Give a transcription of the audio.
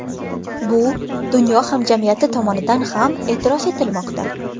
Bu dunyo hamjamiyati tomonidan ham e’tirof etilmoqda.